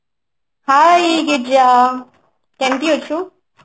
Hi Girija କେମିତି ଅଛୁ